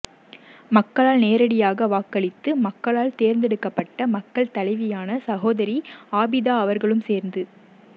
மக்களால் நேரிடியாக வாக்களிந்து மக்களால் தேர்தெடுக்கப்பட்ட மக்கள் தலைவியான சகோதரி ஆபிதா அவர்களும் சேர்ந்து